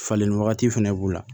Falenni wagati fɛnɛ b'u la